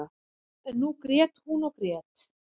En nú grét hún og grét.